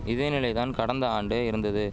இதே நிலை தான் கடந்த ஆண்டு இருந்தது